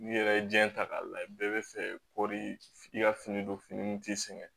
N'i yɛrɛ ye diɲɛ ta k'a lajɛ bɛɛ bɛ fɛ kɔri f'i ka fini don fini min t'i sɛgɛn